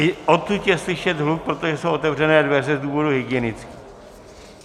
I odtud je slyšet hluk, protože jsou otevřené dveře z důvodů hygienických.